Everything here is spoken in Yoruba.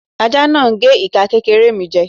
Aja náà gé ika kékéré mi jè